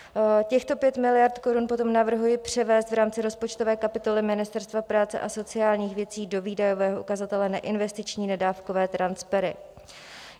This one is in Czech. Těchto 5 miliard korun potom navrhuji převést v rámci rozpočtové kapitoly Ministerstva práce a sociálních věcí do výdajového ukazatele Neinvestiční nedávkové transfery.